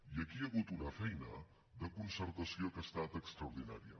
i aquí hi ha hagut una feina de concertació que ha estat extraordinària